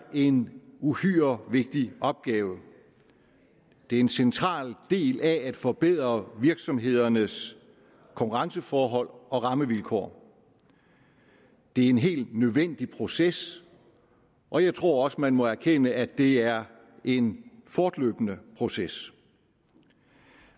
en uhyre vigtig opgave det er en central del af at forbedre virksomhedernes konkurrenceforhold og rammevilkår det er en helt nødvendig proces og jeg tror også man må erkende at det er en fortløbende proces